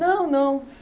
Não, não.